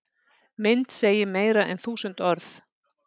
Mynd segir meira en þúsund orð